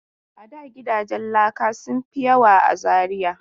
A da gidajen laka sun fi yawa a Zariya.